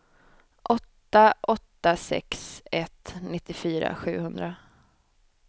åtta åtta sex ett nittiofyra sjuhundra